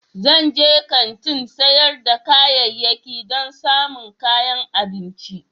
Zan je kantin sayar da kayayyaki don samun kayan abinci.